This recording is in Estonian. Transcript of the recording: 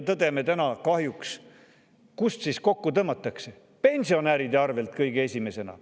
Tõdeme kahjuks, kust kokku tõmmatakse: pensionäride arvelt kõige esimesena.